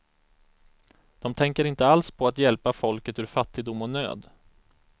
De tänker inte alls på att hjälpa folket ur fattigdom och nöd.